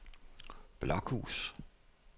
Blokhus